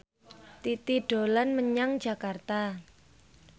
Titi dolan menyang Jakarta